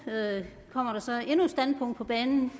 med at man